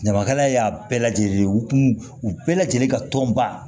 Ɲamakalaya y'a bɛɛ lajɛlen ye u kun u bɛɛ lajɛlen ka tɔn ba